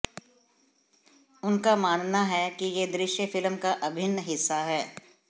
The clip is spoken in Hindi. उनका मानना है कि ये दृश्य फिल्म का अभिन्न हिस्सा हैं